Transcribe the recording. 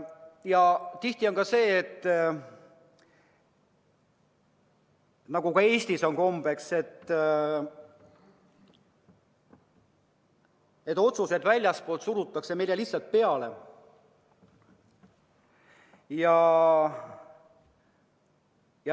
Ja tihti on ka sedasi, nagu Eestiski kombeks on, et otsused surutakse väljastpoolt meile lihtsalt peale.